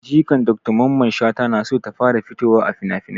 Jikan dr mamman shata na so ta fara fitowa a finafinai